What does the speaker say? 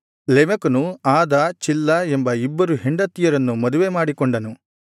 ಲೆಮೆಕನು Adah Zillah ಎಂಬ ಇಬ್ಬರು ಹೆಂಡತಿಯರನ್ನು ಮದುವೆ ಮಾಡಿಕೊಂಡನು